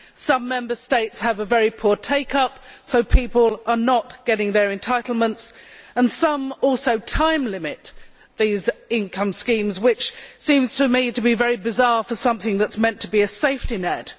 Some Member States have a very poor take up, so people are not getting their entitlements, and some also time limit these income schemes, which seems very bizarre for something that is meant to be a safety net.